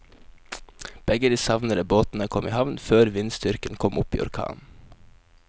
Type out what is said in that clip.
Begge de savnede båtene kom i havn før vindstyrken kom opp i orkan.